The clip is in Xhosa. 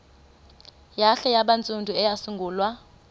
hare yabantsundu eyasungulwa